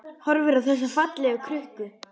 Horfir á þessa fallegu krukku.